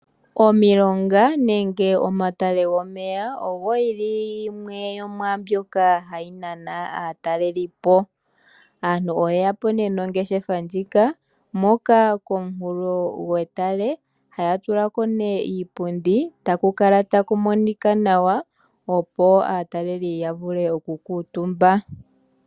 Omilonga nenge omatale gomeya oyo yimwe yomwaambyoka hayi nana aatalelipo. Aantu oye ya po nduno nongeshefa, hoka komunkulo gwetale haya tula ko nduno iipundi e taku kala ta ku monika nawa, opo aatalelipo ya vule okukuutumba.